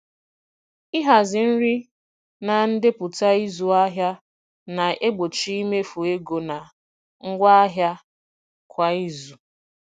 Ịhazi nri na ndepụta ịzụ ahịa na-egbochi imefu ego na ngwa ahịa kwa izu.